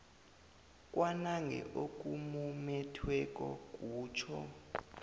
kwanange okumumethweko kutjho